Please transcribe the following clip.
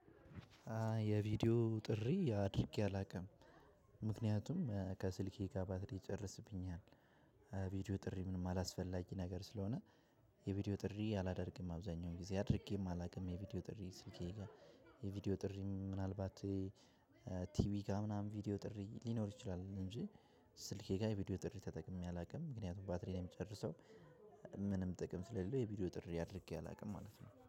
የቪዲዮ ጥሪ አድርጌ አላውቅም። ምክንያቱም ከስልኬ ጋር ባትሪ ይጨርስብኛል። ቪዲዮ ጥሪ ምንም አላስፈላጊ ነገር ስለሆነ። የቪዲዮ ጥሪ አላደርግም። አብዛኛውን ጊዜ አድርጌም አላውቅም የቪዲዮ ጥሪ ስልኬ ጋር። የቪዲዮ ጥሪ ምናልባት ቲቪ ጋር ምናምን ቪዲዮ ጥሪ ሊኖር ይችላል። እንጂ ስልኬ ጋ የቪዲዮ ጥሪ ተጠቅሜ አላቅም። ምክንያቱም ባትሪ ነው የሚጨርሰው። ምንም ጥቅም ስለሌለው የቪዲዮ ጥሪ አድርጌ አላውቅም ማለት ነው